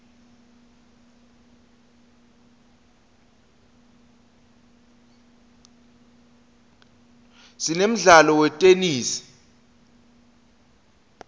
sinemdlalo wetenesi